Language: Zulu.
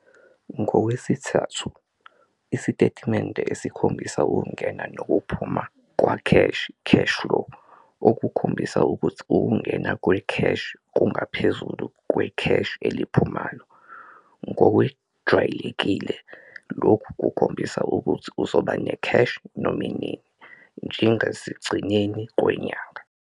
Ngokwesithathu- isitetimende esikhombisa ukungena nokuphuma kwekheshi, cash-flow, okukhombisa ukuthi ukungena kwekheshi kungaphezulu kwekheshi eliphumayo. Ngokwejwalekile lokhu kuzokhombisa ukuthi uzoba nekheshi noma nini, njengasegcineni kwenyanga.